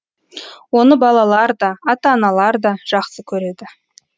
оны балалар да ата аналар да жақсы көреді